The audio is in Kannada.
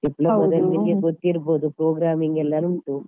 Diploma ದಲ್ಲಿ ನಿಮಗೆ ಗೊತ್ತಿರ್ಬೋದು programming ಎಲ್ಲ ಉಂಟು.